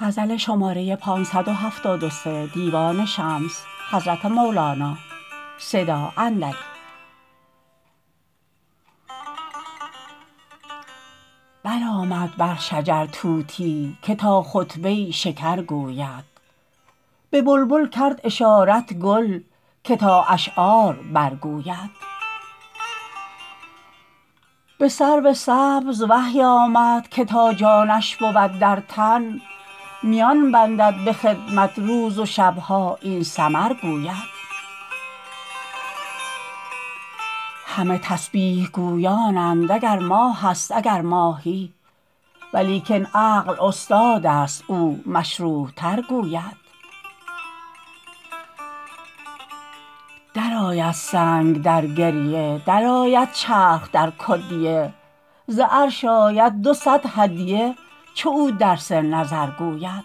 برآمد بر شجر طوطی که تا خطبه ی شکر گوید به بلبل کرد اشارت گل که تا اشعار برگوید به سرو سبز وحی آمد که تا جانش بود در تن میان بندد به خدمت روز و شب ها این سمر گوید همه تسبیح گویانند اگر ماهست اگر ماهی ولیکن عقل استادست او مشروح تر گوید درآید سنگ در گریه درآید چرخ در کدیه ز عرش آید دو صد هدیه چو او درس نظر گوید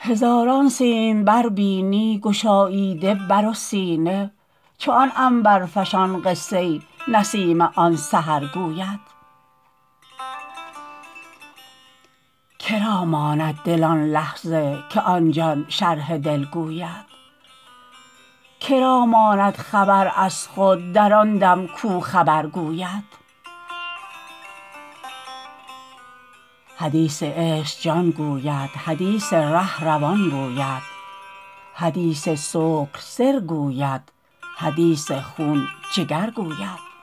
هزاران سیمبر بینی گشاییده بر و سینه چو آن عنبرفشان قصه ی نسیم آن سحر گوید که را ماند دل آن لحظه که آن جان شرح دل گوید که را ماند خبر از خود در آن دم کو خبر گوید حدیث عشق جان گوید حدیث ره روان گوید حدیث سکر سر گوید حدیث خون جگر گوید